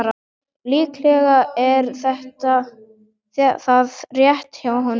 Líklega er það rétt hjá honum.